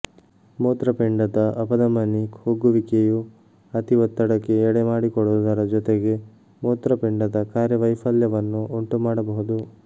ಮೂತ್ರಪಿಂಡದ ಅಪಧಮನಿ ಕುಗ್ಗುವಿಕೆಯು ಅತಿಒತ್ತಡಕ್ಕೆ ಎಡೆ ಮಾಡಿಕೊಡುವುದರ ಜೊತೆಗೆ ಮೂತ್ರಪಿಂಡದ ಕಾರ್ಯವೈಫಲ್ಯವನ್ನು ಉಂಟುಮಾಡಬಹುದು